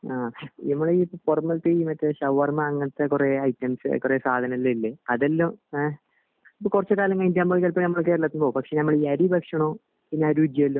അഹ് ഞമ്മള് ഈ പൊറമൽ ത്തെ മറ്റേ ഈ ഷവർമ അങ്ങിനത്തെ കൊറേ ഐറ്റംസ് സാധനങ്ങൾ ഇല്ലേ അതെല്ലാം എഹ് ഇപ്പൊ കൊറച്ച് കാലം കഴിഞ്ഞിട്ട് ഞമ്മള് ചെലപ്പോ ഞമ്മടെ കേരളത്തിലോ പക്ഷെ ഞമ്മളെ ഇ അരി ഭക്ഷണോ പിന്നെ ആ രുചിയെല്ലാം